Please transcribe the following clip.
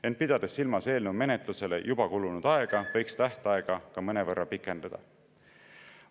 Ent pidades silmas eelnõu menetlusele juba kulunud aega, võiks tähtaega ka mõnevõrra pikendada.